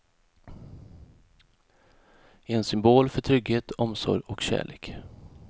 En symbol för trygghet, omsorg och kärlek.